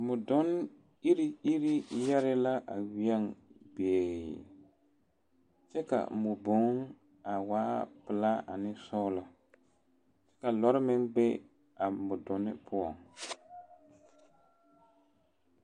Modonne iri iri yɛre la a weɛŋ be kyɛ ka weɛboŋ a waa pelaa ane sɔglɔ ka lɔr meŋ be a modonne poɔ.